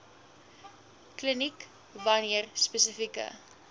kliniek wanneer spesifieke